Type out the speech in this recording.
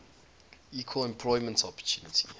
equal employment opportunity